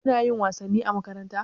Kuna yin wasanni a makaranta?